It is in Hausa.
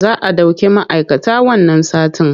Za a ɗauki ma'aikata wannan satin.